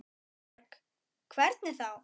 Erla Björg: Hvernig þá?